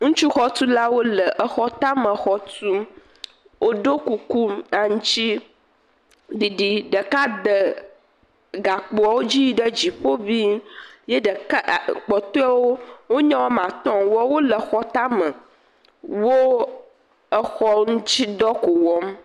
Ŋutsu xɔtulawo le xɔ tame xɔ tum woɖo kuku aŋtiɖiɖi ɖeka de gakpowo dzi yi ɖe dziƒo ʋii kpɔtɔewo nye wo ame atɔ woawo le xɔ tame wo xɔ ŋti dɔ ko wɔm